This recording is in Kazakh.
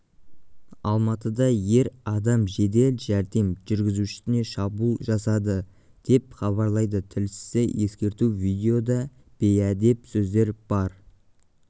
алматыда ер адам жедел жәрдем жүргізушісіне шабуыл жасады деп хабарлайды тілшісі ескерту видеода бейәдеп сөздер бар